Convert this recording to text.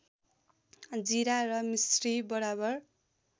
जिरा र मिस्री बराबर